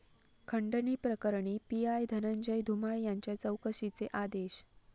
खंडणी प्रकरणी पीआय धनंजय धुमाळ यांच्या चौकशीचे आदेश